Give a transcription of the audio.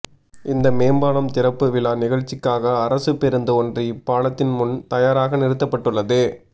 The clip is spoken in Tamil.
இந்த மேம்பாலம் திறாப்புவிழா நிகழ்ச்சிக்காக அரசு பேருந்து ஒன்று இப்பாலத்தின் முன் தயாராக நிறுத்தப்பட்டுள்ளது